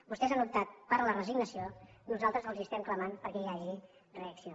vostès han optat per la resignació nosaltres els estem clamant perquè hi hagi reacció